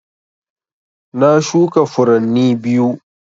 Na shuka furanni biyu